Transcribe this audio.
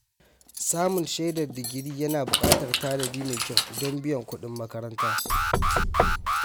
Samun shaidar digiri yana buƙatar tanadi mai kyau don biyan kudin makaranta.